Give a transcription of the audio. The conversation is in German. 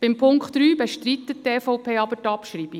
Bei Punkt 3 bestreitet die EVP aber die Abschreibung.